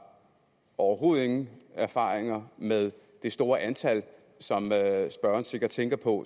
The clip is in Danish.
overhovedet ingen erfaringer med det store antal som spørgeren sikkert tænker på